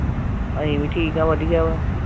ਅਸੀਂ ਵੀ ਠੀਕ ਆ ਵਧੀਆ ਵਾਂ